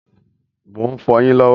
Mo ń fọ yín lọ́wọ́